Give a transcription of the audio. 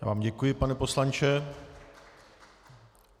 Já vám děkuji, pane poslanče.